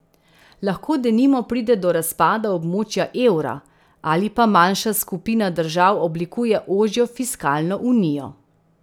Lahko denimo pride do razpada območja evra, ali pa manjša skupina držav oblikuje ožjo fiskalno unijo.